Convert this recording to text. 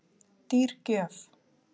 Dýr gjöf